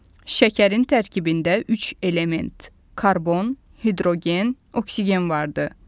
Şəkərin tərkibində üç element – karbon, hidrogen, oksigen vardır.